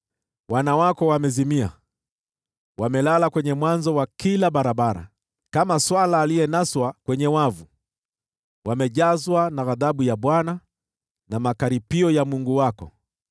Wana wako wamezimia, wamelala kwenye mwanzo wa kila barabara, kama swala aliyenaswa kwenye wavu. Wamejazwa na ghadhabu ya Bwana na makaripio ya Mungu wako.